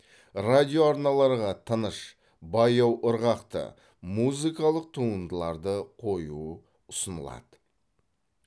радиоарналарға тыныш баяу ырғақты музыкалық туындыларды қою ұсынылады